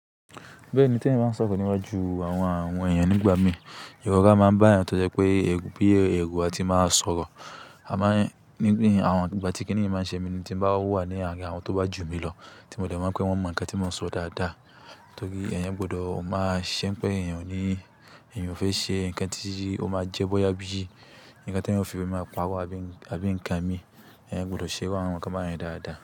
Bẹ́ẹ̀ni, tí èèyàn báa ń sọ̀rọ̀ níwájú àwọn èèyàn nígbà mìí, ìrọ̀ra máa ń bá èèyàn tó jẹ́ pé ẹru bíi ẹru a ti máa sọ̀rọ̀. A máa ń nígbà tí kí nìyí máa ń ṣe mi tí mo bá wà ní àárín àwọn tó bá jù mí lọ, tí mo dẹ̀ máa pè pé wọ́n mọ nǹkan tí mò ń sọ dáadáa. Nítorí èèyàn gbọdọ̀ máa ṣẹ́ n pé èèyàn ní èèyàn fẹ́ ṣe nǹkan tí ó máa jẹ́ bọ́yá bí i nǹkan tí èèyàn o fi máa ń parọ àbí nǹkan mi. Ẹ̀yàn gbọdọ̀ ṣe iru àwọn nǹkan bá yẹn dáadáa.